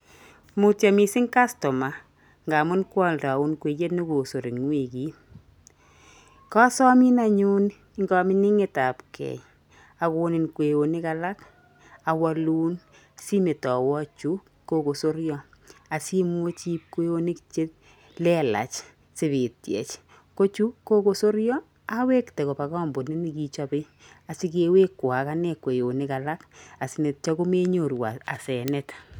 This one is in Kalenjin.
Mutyo mising customer ngaamun kwaoldaun kweyet ne kosor eng wikit. Kosomin anyun eng koming'inetapgei akonin kweyonik alak, awolun simetoiywo chu kokosoryo asiimuch iib kweyonik che lelach sipityech. Ko chu kokosoryo, awekte koba kampunit nekichope asikewekwo ak ane kweyonik alak asinetyo komenyoru asenet.